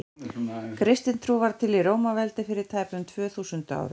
kristin trú varð til í rómaveldi fyrir tæpum tvö þúsund árum